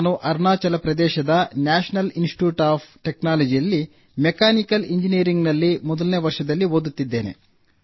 ನಾನು ಅರುಣಾಚಲ ಪ್ರದೇಶದ national institute of ಟೆಕ್ನಾಲಜಿಯಲ್ಲಿ ಮೆಕ್ಯಾನಿಕಲ್ ಎಂಜಿನಿಯರಿಂಗ್ ನಲ್ಲಿ ಮೊದಲನೇ ವರ್ಷದಲ್ಲಿ ಓದುತ್ತಿದ್ದೇನೆ